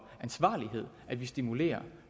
ansvarlighed at vi stimulerer